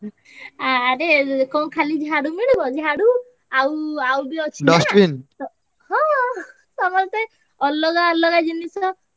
ଆରେ ଇଏ କଣ ଖାଲି ଝାଡୁ ମିଳିବ ଝାଡୁ ଆଉ ଆଉ ବି ଅଛିନା ହ~ ହଁ ସମସ୍ତେ ଅଲଗା ଅଲଗା ଜିନିଷ।